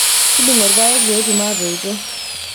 tudung'o ilpayek peetum atoito